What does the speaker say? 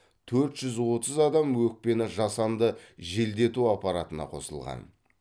төрт жүз отыз адам өкпені жасанды желдету аппаратына қосылған